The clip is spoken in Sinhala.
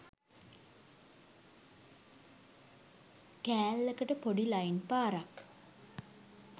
කෑල්ලකට පොඩි ලයින් පාරක්